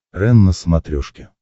рен на смотрешке